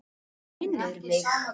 Það minnir mig.